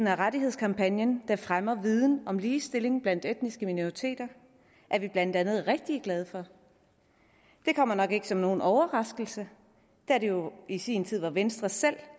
af rettighedskampagnen der fremmer viden om ligestilling blandt etniske minoriteter er vi blandt andet rigtig glade for det kommer nok ikke som nogen overraskelse da det jo i sin tid var venstre selv